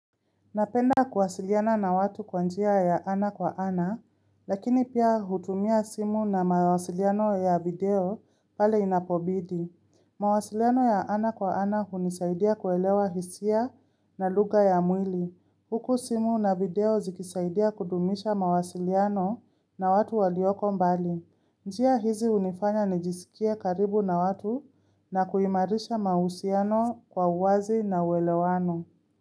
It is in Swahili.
Napenda kuwasiliana na watu kwa njia ya ana kwa ana, lakini pia hutumia simu na mawasiliano ya video pale inapobidi. Mawasiliano ya ana kwa ana hunisaidia kuelewa hisia na luga ya mwili. Huku simu na video zikisaidia kudumisha mawasiliano na watu walioko mbali. Njia hizi unifanya nijisikia karibu na watu na kuhimarisha mahusiano kwa uwazi na uwelewano.